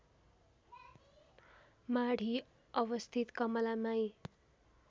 माढी अवस्थित कमलामाई